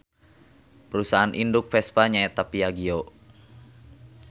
Parusahaan induk Vespa nya eta Piaggio.